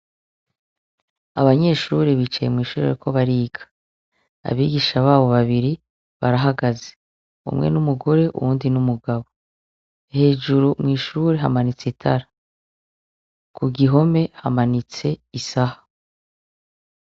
Abanyeshure bicaye mwishure bariko bariga. Abigisha babo babiri barahagaze. Umwe n’umugore , uwundi n’umugabo. Hejuru mw’ishuri hamanitse itara, kugihome hamanitse isaha.